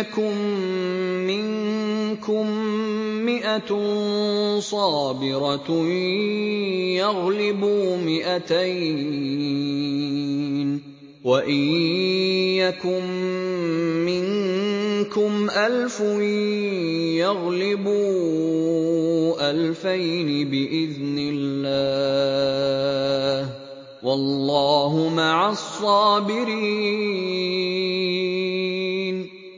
يَكُن مِّنكُم مِّائَةٌ صَابِرَةٌ يَغْلِبُوا مِائَتَيْنِ ۚ وَإِن يَكُن مِّنكُمْ أَلْفٌ يَغْلِبُوا أَلْفَيْنِ بِإِذْنِ اللَّهِ ۗ وَاللَّهُ مَعَ الصَّابِرِينَ